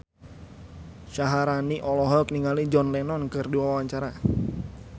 Syaharani olohok ningali John Lennon keur diwawancara